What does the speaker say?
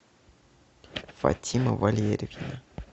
фатима валерьевна